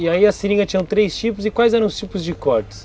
E aí as seringas tinham três tipos, e quais eram os tipos de cortes?